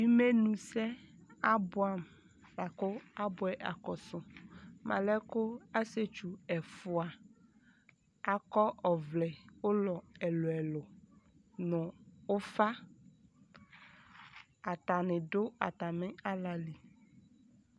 Imenusɛ abuamu akɔsu alɛɛku asietsu ɛfua akɔ ɔvlɛ ulɔ ɛluɛlu nɔɔ ufa atani du atami alali